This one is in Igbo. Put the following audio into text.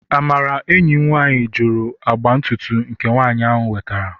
Amara enyim nwanyi juru agba ntutu nke nwanyi wetara